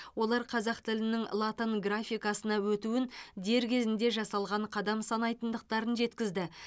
олар қазақ тілінің латын графикасына өтуін дер кезінде жасалған қадам санайтындықтарын жеткізді